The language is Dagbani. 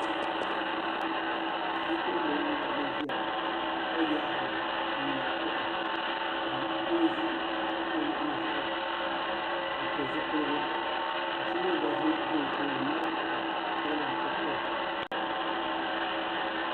Bipuɣinbil. n wari gi nziya ka yaa hamma n ŋmari kuɣa ka doozi dizuɣu n pili zupiligu ka so mi gba zi o tooni n mali kuɣuli n tiri to.